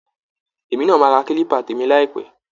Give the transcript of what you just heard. Èmi náa maa ra kílíbà tèmi láìpẹ́